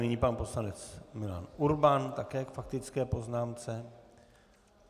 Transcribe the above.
Nyní pan poslanec Milan Urban také k faktické poznámce.